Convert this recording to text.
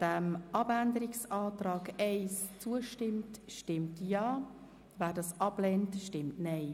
Wer dem Abänderungsantrag 1 zustimmt, stimmt Ja, wer diesen ablehnt, stimmt Nein.